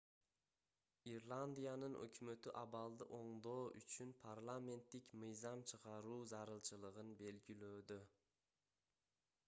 ирландиянын өкмөтү абалды оңдоо үчүн парламенттик мыйзам чыгаруу зарылчылыгын белгилөөдө